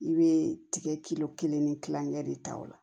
I bɛ tigɛ kilo kelen ni kilankɛ de ta ola